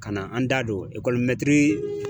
Ka na an da don mɛtiri